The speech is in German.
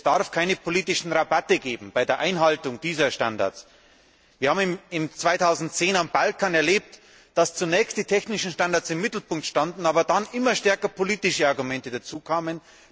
Es darf keine politischen Rabatte bei der Einhaltung dieser Standards geben. Wir haben im Jahr 2010 auf dem Balkan erlebt, dass zunächst die technischen Standards im Mittelpunkt standen, aber dann immer stärker politische Argumente dazukamen.